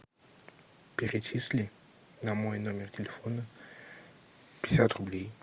перечисли на мой номер телефона пятьдесят рублей